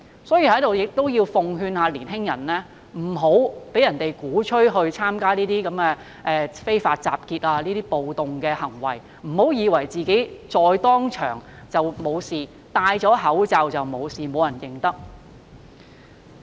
所以，我要在此奉勸年青人，不要被人鼓吹參加非法集結和暴動，不要以為戴上口罩便不會被認出、沒有事。